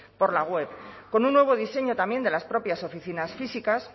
por la web con un nuevo diseño también de las propias oficinas físicas